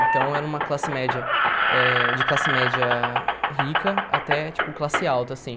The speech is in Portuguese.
Então, era uma classe média eh... De classe média rica até, tipo, classe alta, assim.